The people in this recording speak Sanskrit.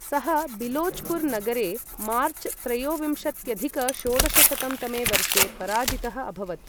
सः बिलोचपुर नगरे मार्च त्रयोविंशत्यधिक षोडशशतं तमे वर्षे पराजितः अभवत् ।